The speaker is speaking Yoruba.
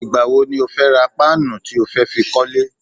Ìgbà wo ni o fẹ́ ra páànù tí ó fẹ́ fi kọ́lẹ́?